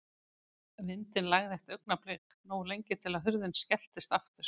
Vindinn lægði eitt augnablik, nógu lengi til að hurðin skelltist aftur.